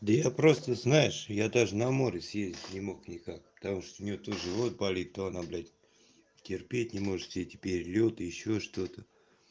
да я просто знаешь я даже на море съездить не мог никак потому что у неё то живот болит то она блядь терпеть не может все эти перелёты ещё что-то